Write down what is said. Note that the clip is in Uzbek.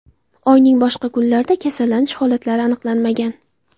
Oyning boshqa kunlarida kasallanish holatlari aniqlanmagan.